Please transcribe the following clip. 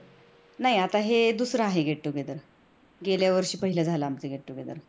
नाही आता हे दुसरं आहे get together गेल्या वर्षी पहिलं झाल आमचं झाल आमचं get together